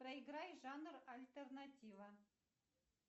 проиграй жанр альтернатива